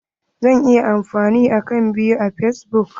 Zan iya amfani da akant biyu a fasbuk?